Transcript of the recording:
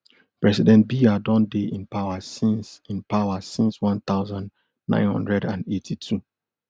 president biya don dey in power since in power since one thousand, nine hundred and eighty-two